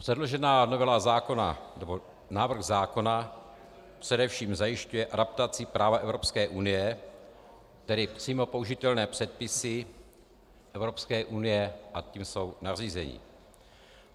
Předložená novela zákona, nebo návrh zákona, především zajišťuje adaptaci práva Evropské unie, tedy přímo použitelné předpisy Evropské unie a tím jsou nařízení.